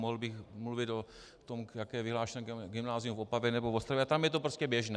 Mohl bych mluvit o tom, jaké je vyhlášené gymnázium v Opavě nebo v Ostravě, a tam je to prostě běžné.